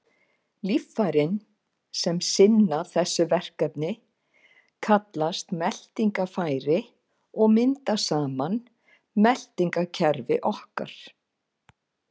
Líffærin sem sinna þessu verkefni kallast meltingarfæri og mynda saman meltingarkerfi okkar.